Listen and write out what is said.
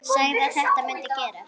Sagði að þetta mundi gerast.